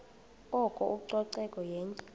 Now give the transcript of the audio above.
oko ucoceko yenye